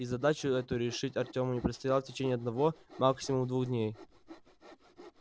и задачу эту решить артёму предстояло в течение одного максимум двух дней